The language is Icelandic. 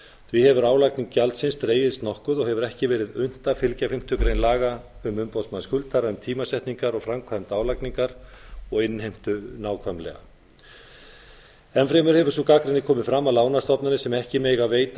því hefur álagning gjaldsins dregist nokkuð og hefur ekki verið unnt að fylgja fimmtu grein laga um umboðsmann skuldara um tímasetningar og framkvæmd álagningar og innheimtu nákvæmlega enn fremur hefur sú gagnrýni komið fram að lánastofnanir sem ekki mega veita